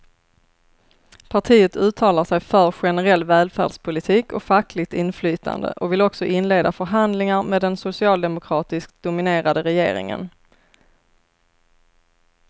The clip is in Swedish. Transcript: Partiet uttalar sig för generell välfärdspolitik och fackligt inflytande och vill också inleda förhandlingar med den socialdemokratiskt dominerade regeringen.